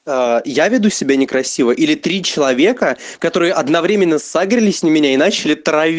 я веду себя некрасиво или три человека которые одновременно сагрелись на меня и начали трави